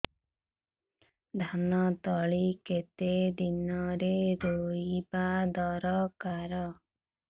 ଧାନ ତଳି କେତେ ଦିନରେ ରୋଈବା ଦରକାର